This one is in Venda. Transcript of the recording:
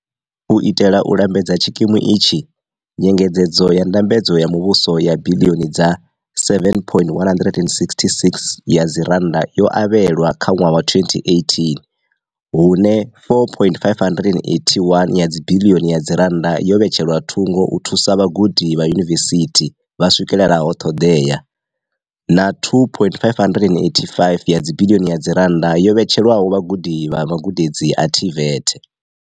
U itela u lambedza tshi kimu itshi, nyengedzedzo ya ndambedzo ya muvhuso ya biḽioni dza R7.166 yo avhelwa kha ṅwaha wa 2018 hune R4.581 ya dzibiḽioni yo vhetshelwa thungo u thusa vhagudi vha yunivesithi vha swikelelaho ṱhoḓea na R2.585 ya dzibiḽioni yo vhetshelwaho vhagudi vha magudedzi a TVET.